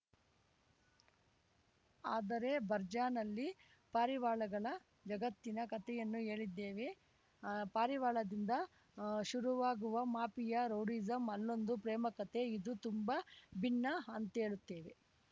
ಆದರೆ ಬರ್ಜಾನಲ್ಲಿ ಪಾರಿವಾಳಗಳ ಜಗತ್ತಿನ ಕತೆಯನ್ನು ಹೇಳಿದ್ದೇವೆ ಪಾರಿವಾಳದಿಂದ ಶುರುವಾಗುವ ಮಾಫಿಯಾ ರೌಡಿಸಂ ಅಲ್ಲೊಂದು ಪ್ರೇಮ ಕತೆ ಇದು ತುಂಬಾ ಭಿನ್ನ ಅಂತೇಳುತ್ತೇನೆ